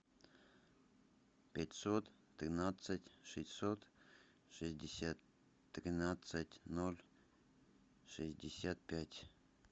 пятьсот тринадцать шестьсот шестьдесят тринадцать ноль шестьдесят пять